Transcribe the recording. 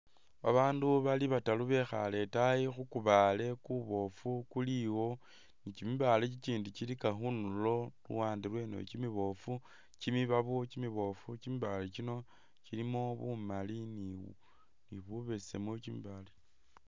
Ba bandu bali bataru bekhale itaayi khu kubaale kuboofu kuli iwo, ni kyi mibaale kyikyindi kyilika khundulo khuluwande lweno kyimiboofu kyimibibabo kyimiboofu kyimibaale kyino kyilimo bumali ni bubesemu kyimibaale.